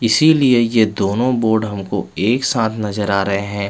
इसीलिए ये दोनों बोर्ड हमको एकसाथ नजर आ रहे है।